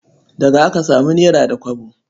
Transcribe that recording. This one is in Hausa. Daga aka samu nera da kwabo.